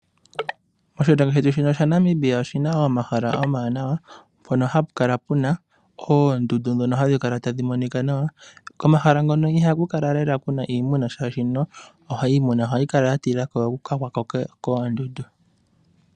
Oshilongo shetu shaNamibia oshina omahala omawanawa mpono hapukala puna oondundu ndhono tadhi monika nawa. Komahala ngono ihaku kala lela taku monika iimuna oshoka iimuna ohayi kala yatila okugwako koondundu.